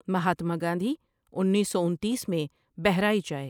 مہاتما گاندھی انیس سو انتیس میں بہرائچ آئے ۔